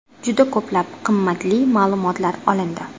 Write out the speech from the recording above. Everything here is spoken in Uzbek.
Juda ko‘plab qimmatli ma’lumotlar olindi.